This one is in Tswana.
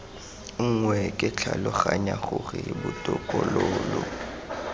nngwe ke tlhaloganya gore botokololo